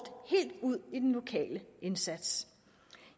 helt ud i den lokale indsats